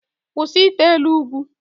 Kwụsị ite elu ugwu!